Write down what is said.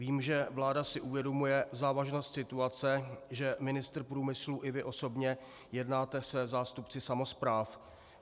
Vím, že vláda si uvědomuje závažnost situace, že ministr průmyslu i vy osobně jednáte se zástupci samospráv.